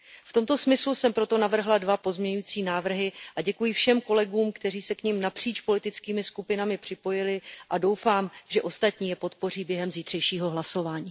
V tomto smyslu jsem proto navrhla 2 pozměňující návrhy a děkuji všem kolegům, kteří se k nim napříč politickými skupinami připojili, a doufám, že ostatní je podpoří během zítřejšího hlasování.